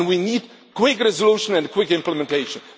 We need quick resolution and quick implementation.